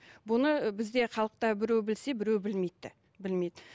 бұны бізде халықта біреу білсе біреу білмейді де білмейді